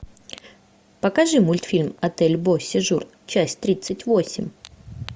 покажи мультфильм отель бо сежур часть тридцать восемь